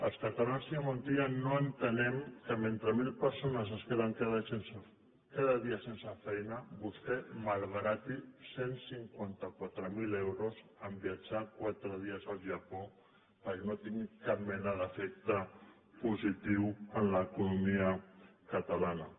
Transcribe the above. els catalans senyor montilla no entenem que mentre mil persones es queden cada dia sense feina vostè malbarati cent i cinquanta quatre mil euros en viatjar quatre dies al japó i no tingui cap mena d’efecte positiu en l’economia catalana